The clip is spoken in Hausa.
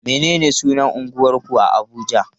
Menene sunan unguwarku a Abuja?